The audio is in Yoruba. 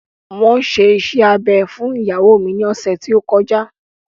Wọn ṣe iṣẹ́ abẹ fún ìyàwó mi ní ọ̀sẹ̀ tí ó kọjá